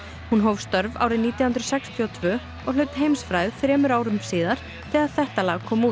hún hóf störf árið nítján hundruð sextíu og tvö og hlaut heimsfrægð þremur árum síðar þegar þetta lag kom út